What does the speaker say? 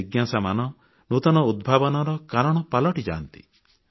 ଏହି ଜିଜ୍ଞାସାଗୁଡ଼ିକ ନୂତନ ଉଦ୍ଭାବନର କାରଣ ପାଲଟିଯାଆନ୍ତି